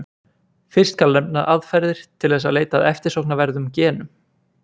Fyrst skal nefna aðferðir til þess að leita að eftirsóknarverðum genum.